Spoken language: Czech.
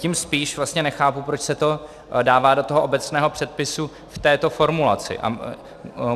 Tím spíš vlastně nechápu, proč se to dává do toho obecného předpisu v této formulaci.